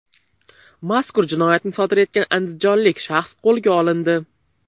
Mazkur jinoyatni sodir etgan andijonlik shaxs qo‘lga olindi.